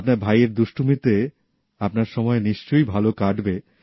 আপনার ভাইয়ের দুষ্টুমিতে আপনার সময় নিশ্চয়ই ভালো কাটবে